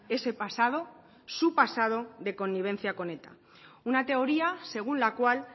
ese pasado su pasado de connivencia con eta una teoría según la cual